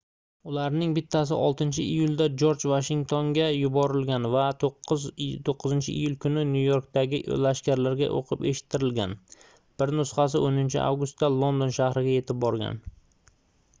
ularning bittasi 6-iyulda jorj vashingtonga yuborilgan va 9-iyul kuni nyu-yorkdagi lashkarlarga oʻqib eshittirilgan bir nusxasi 10-avgustda london shahriga yetib borgan